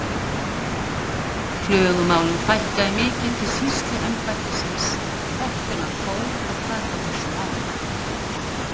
Klögumálum fækkaði mikið til sýsluembættisins eftir að hann fór að taka á þessum málum.